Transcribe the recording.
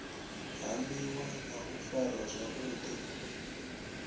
hamiwa na u farwa zwavhu